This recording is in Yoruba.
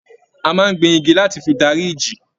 A máa n gbìn igi láti fí darí ìjì.